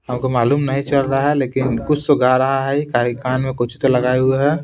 हमको मालूम नहीं चल रहा है लेकिन कुछ तो गा रहा है कान में कुछ तो लगाए हुए है।